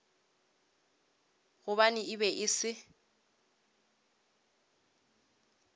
gobane e be e se